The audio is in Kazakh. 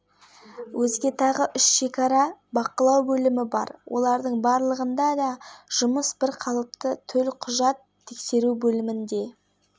қазақстан-қырғызстан шекарасындағы шекаралық бақылау бөлімдерінде адам мен көлік құралдарының өтуіне кедергі жоқ хабар арнасы бокс кешінен